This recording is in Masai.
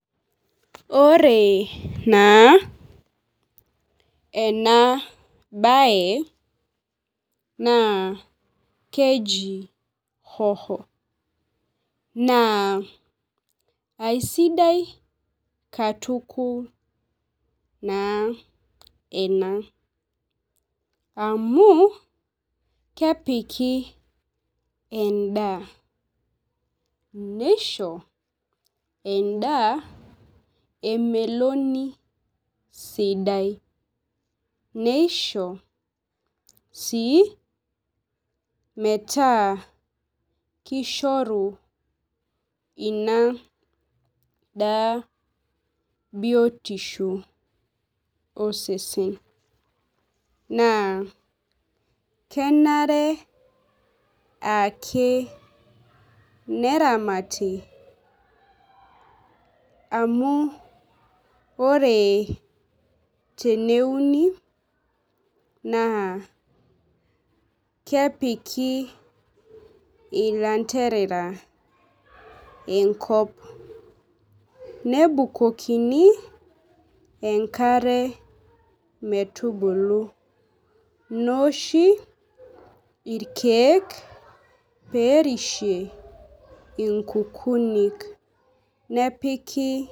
Ore naa ena bae naa keji hoho. Naa aisiadi katukul enaa amuu keoiki edaa nisho edaa emeloni sidai, nisho sii metaa kishoru ina daa biotisho osesen naa kenare ake neramati amu ore teneuni naa kepiki ilanterera enkop, nebukukini enkare pebulu , neoshi irkeek perishie inkukinik nepiki.